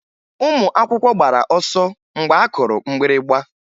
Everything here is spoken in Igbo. Ụmụ akwụkwọ gbara ọsọ mgbe a kụrụ mgbịrịgba